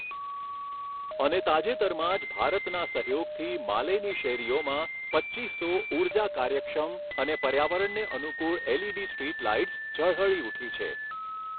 અને તાજેતરમાં જ ભારતના સહયોગથી માલેની શેરીઓમાં પચ્ચીસો ઊર્જા કાર્યક્ષમ અને પર્યાવરણને અનુકૂળ એલઈડી સ્ટ્રીટ લાઇટ્સ ઝળહળી ઊઠી છે.